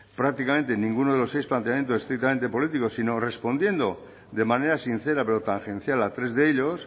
prácticamente ninguno de los seis planteamientos estrictamente políticos sino respondiendo de manera sincera pero tangencial a tres de ellos